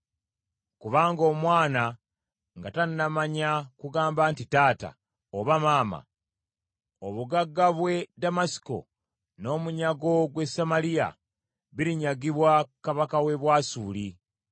Kubanga omwana nga tannamanya kugamba nti, ‘Taata’, oba ‘Maama’, obugagga bw’e Ddamasiko n’omunyago gwe Samaliya birinyagibwa kabaka w’e Bwasuli.”